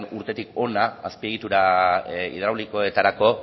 urtetik hona azpiegitura hidraulikoetarako